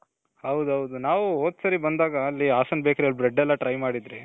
ಹೌದೌದು ನಾವು ಹೋದ್ ಸರಿ ಬಂದಾಗ ಅಲ್ಲಿ ಹಾಸನ್ bakery ಅಲ್ಲಿ bread ಎಲ್ಲಾ try ಮಾಡಿದ್ವಿ.